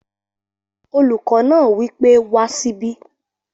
Olùkọ́ náà wí pé wá síbí!